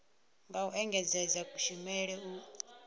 nga u engedzedza kushumele u